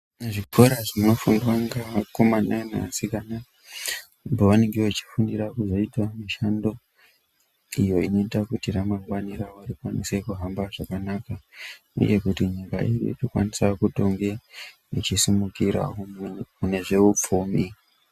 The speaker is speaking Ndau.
Zvikora zvinofundwa ngevakomana nevasikana pavanenge vachifundira kuzoita mishando iyo inoita kuti ramangwani ravo rikwanise kuhamba zvakanaka uye kuti nyika ine ichikwanisa kutonge ichisimukirawo mune zveupfumi.